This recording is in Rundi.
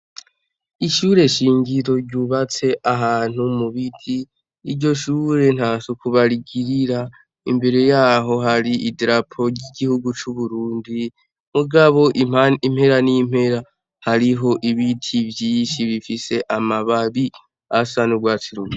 Ishure shingiro ryubatse ahantu mu biti, iryo shure ntasuku barigirira, imbere yaho hari idarapo ry'igihugu c'u Burundi, mugabo impera n'impera hariho ibiti vyinshi bifise amababi asa n'urwatsi rubisi.